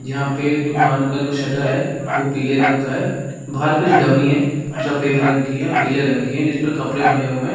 यहाँ पे दुकान का जो शटर है वो पीले रंग का है बाहर कुछ डमी है रंग की है पीले रंग की है जिस पर कपड़े बने हुए हैं ।